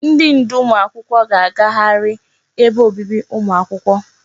Ndi ndu ụmụ akwụkwọ ga agagharị ebe obibi ụmụ akwụkwọ.